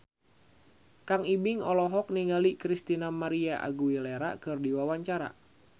Kang Ibing olohok ningali Christina María Aguilera keur diwawancara